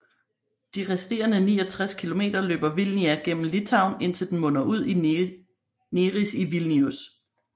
De resterende 69 km løber Vilnia gennem Litauen indtil den munder ud i Neris i Vilnius